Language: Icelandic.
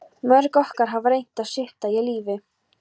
Mörg okkar hafa reynt að svipta sig lífi.